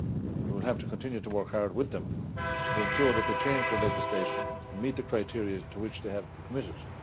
We will have to continue to work hard with them to ensure that they change their legislation and meet the criteria to which they have committed.